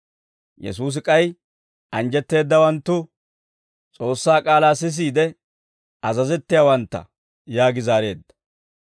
Yesuusi k'ay, «Anjjetteeddawanttu S'oossaa k'aalaa sisiide azazettiyaawantta» yaagi zaareedda.